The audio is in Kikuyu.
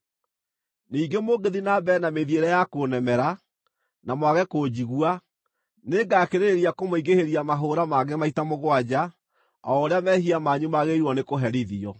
“ ‘Ningĩ mũngĩthiĩ na mbere na mĩthiĩre ya kũnemera, na mwage kũnjigua, nĩngakĩrĩrĩria kũmũingĩhĩria mahũũra mangĩ maita mũgwanja o ũrĩa mehia manyu magĩrĩirwo nĩ kũherithio.